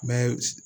Mɛ